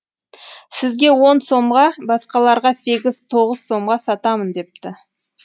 сізге он сомға басқаларға сегіз тоғыз сомға сатамын депті